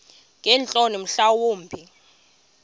ngeentloni mhla wumbi